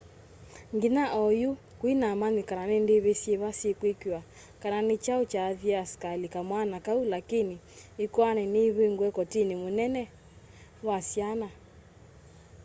nginya onyu kuinamanyikana ni ndivi syiva syikwikiwa kana ni chau chaathiiie askali kamwana kau lakini ikoani ni ivingue kotini munene wa syana